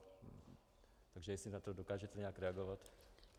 Takže jestli na to dokážete nějak reagovat.